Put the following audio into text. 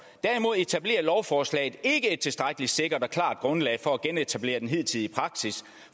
derimod etablerer lovforslaget ikke et tilstrækkelig sikkert og klart grundlag for at genetablere den hidtidige praksis